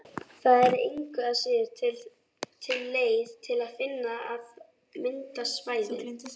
Það er engu að síður til leið til þess að mynda svæðin.